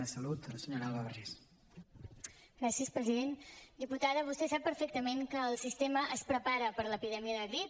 diputada vostè sap perfectament que el sistema es prepara per l’epidèmia de grip